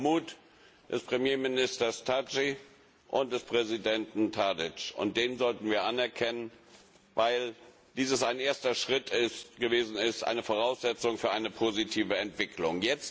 Mut des Premierministers Thaçi und des Präsidenten Tadić. Diesen Mut sollten wir anerkennen, weil dies ein erster Schritt gewesen ist, die Voraussetzung für eine positive Entwicklung.